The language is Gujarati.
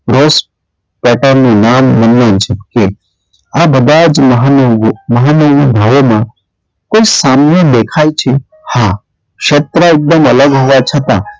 આ બધાં જ મહાનુંભવોમાં~ મહાનુભવોમાં કોઈ સામ્ય દેખાય છે હા ક્ષત્રા એકદમ અલગ હોવા છતાં,